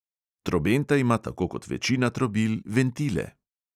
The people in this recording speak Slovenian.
Trobenta ima tako kot večina trobil ventile.